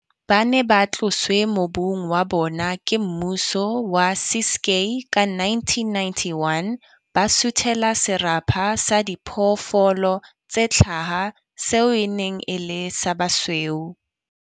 Ba ne ba tloswe mobung wa bona ke mmuso wa Ciskei ka 1991, ba suthela serapa sa diphoofolo tse tlhaha seo e neng e le sa ba basweu.